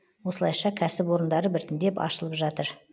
осылайша кәсіп орындары біртіндеп ашылып жатыр